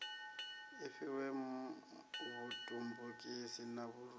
i fhiwe vhutumbukisi na vhuoli